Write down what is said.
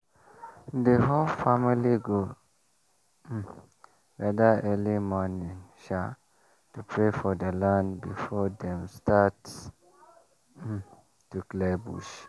the whole family go um gather early morning um to pray for the land before dem start um to clear bush.